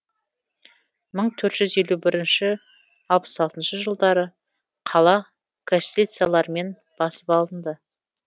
мың төрт жүз елу бірінші алпыс алтыншы жылдары қала кастильцалармен басып алынды